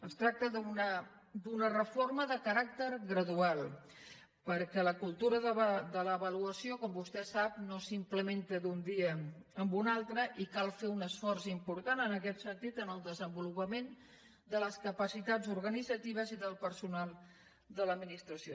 es tracta d’una reforma de caràcter gradual perquè la cultura de l’avaluació com vostè sap no s’implementa d’un dia a un altre i cal fer un esforç important en aquest sentit en el desenvolupament de les capacitats organitzatives i del personal de l’administració